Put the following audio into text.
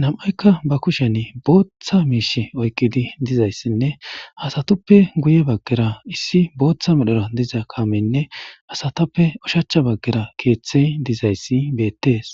nam'aykka ba kushen booththa miish oykkidi dizayssinne hasatuppe guye baggera issi booththa medhora diza kaamenne asatappe ushacha baggera keeththey dizayssi beettees.